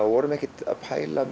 vorum ekkert að pæla